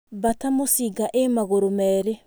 Mbata mũcinga ĩ magũrũ merĩ.